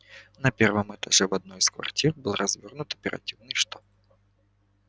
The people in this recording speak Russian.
на первом этаже в одной из квартир был развёрнут оперативный штаб